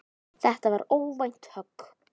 Þetta var óvænt högg.